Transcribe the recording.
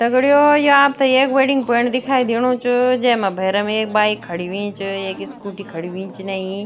दगडियों ये आपथे एक वेडिंग पॉइंट दिखाई देणु च जैमा भैरम एक बाइक खड़ीं हुईं च एक स्कूटी खड़ीं हुईं च इनयी।